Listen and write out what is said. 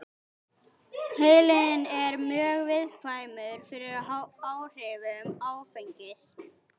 Heilinn er mjög viðkvæmur fyrir áhrifum áfengis.